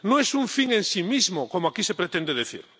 No es un fin en sí mismo, como aquí se pretende decir.